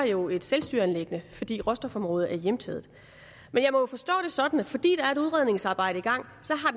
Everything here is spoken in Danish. jo var et selvstyreanliggende fordi råstofområdet er hjemtaget men jeg må jo forstå det sådan at fordi der er et udredningsarbejde i gang